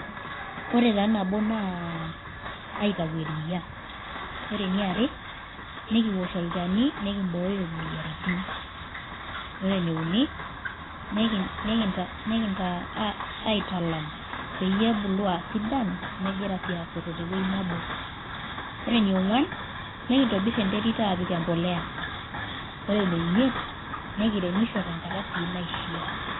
Ore taa nabo naa akintau eria. Ore eniare nikiwosh olchani nikimbooyo imoyiaritin. Ore eneuni nintaa aaa aitalam peyie ebulu aasidan megira aasoto tewueji nebo. Ore eneonguan nikintobir enterit aapik embolea, ore eneimit nekirrmisho tenkata sii naishiaa.